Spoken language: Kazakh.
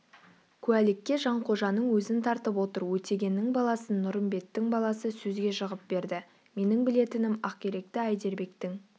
куәлікке жанқожаның өзін тартып отыр өтегеннің баласын нұрымбеттің баласы сөзге жығып берді менің білетінім ақиректі әйдербектің